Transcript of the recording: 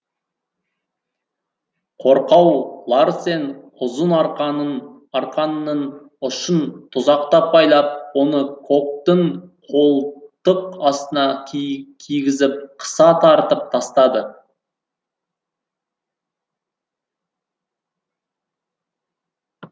қорқау ларсен ұзын арқанның ұшын тұзақтап байлап оны коктың қолтық астына кигізіп қыса тартып тастады